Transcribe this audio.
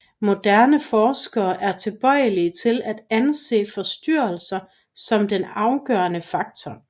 Moderne forskere er tilbøjelige til at anse forstyrrelse som den afgørende faktor